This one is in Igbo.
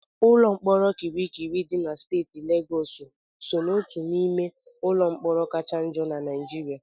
Ụlọ mkpọrọ Kirikiri dị na steeti Legọọsụ so n'otu n'ime ụlọ mkpọrọ kacha njọ na Naịjirịa.